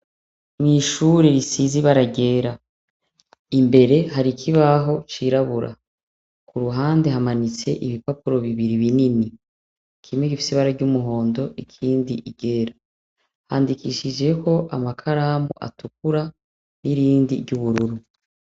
Mwishuri risize ibara ryera imbere hari ikibaho cirabura kuruhande hamanitse ibipapuro bibiri binini kimwe gifise ibara ry' umuhondo ikindi iryera handikishijeko amakaramu atukura n' irindi ry' ubururu.